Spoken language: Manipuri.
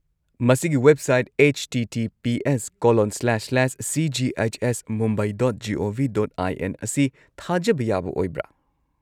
ꯃꯁꯤꯒꯤ ꯋꯦꯕꯁꯥꯏꯠ https://cghsmumbai.gov.in ꯑꯁꯤ ꯊꯥꯖꯕ ꯌꯥꯕ ꯑꯣꯏꯕ꯭ꯔꯥ?